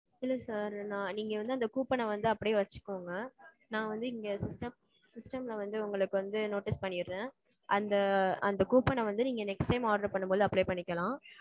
இல்ல sir நா நீங்க வந்து அந்த coupon அ வந்து அப்பிடியே வச்சுக்கோங்க. நான் வந்து இங்க. system system ல வந்து உங்களுக்கு வந்து notice பண்ணிர்றேன். அந்த அந்த coupon அ வந்து நீங்க next time order பண்ணும்போது apply பண்ணிக்கலாம்.